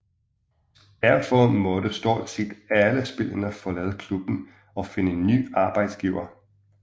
Derfor måtte stort set alle spillerne forlade klubben og finde en ny arbejdsgiver